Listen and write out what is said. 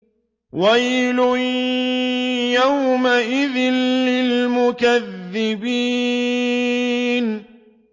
وَيْلٌ يَوْمَئِذٍ لِّلْمُكَذِّبِينَ